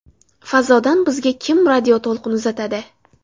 Fazodan bizga kim radioto‘lqin uzatadi?.